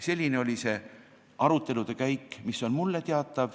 Selline oli see arutelude käik, mis on mulle teada.